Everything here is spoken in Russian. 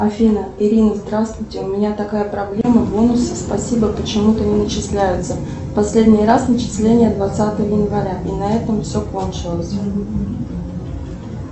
афина ирина здравствуйте у меня такая проблема бонусы спасибо почему то не начисляются последний раз начисление двадцатого января и на этом все кончилось